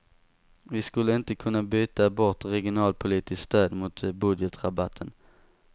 Vi skulle inte kunna byta bort regionalpolitiskt stöd mot budgetrabatten.